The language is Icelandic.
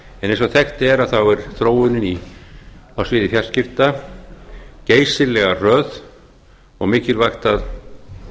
eins og þekkt er er þróunin á sviði fjarskipta geysilega hröð og mikilvægt að